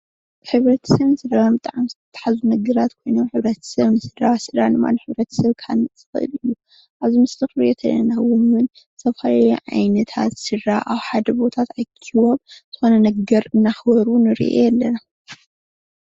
ሕብረተሰብን ስድራን ብጣዕሚ ዝተሓሓዙ ነገራት ኮይኖም ሕብረተስብ ንስድራ ስድራ ድማ ንሕብረተሰብ ክሃንፅ ዝክእል እዩ ።ኣብዚ ምስሊ ንሪኦ ዘለና እዉን ዝተፈላለዩ ዓይነታት ስድራ ኣብ ሓደ ቦታ ተኣኪቦም ዝኮነ ነገር እናክበሩ ንሪኢ ኣለና ።